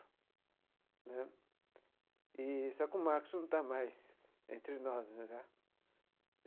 Né eee só que o Marcos não está mais entre nós.